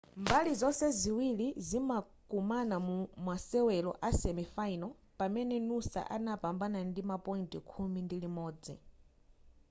mbali zonse ziwiri zimakumana mu mumasewero a semifinal pamene noosa adapambana ndi ma point khumi ndi imodzi